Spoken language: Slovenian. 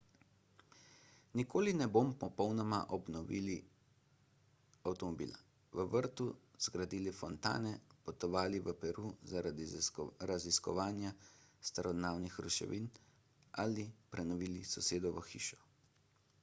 nikoli ne bomo popolnoma obnovili avtomobila v vrtu zgradili fontane potovali v peru zaradi raziskovanja starodavnih ruševin ali prenovili sosedovo hišo